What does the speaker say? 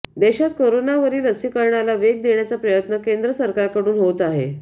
देशात करोनावरील लसीकरणाला वेग देण्याचा प्रयत्न केंद्र सरकारकडून होत आहे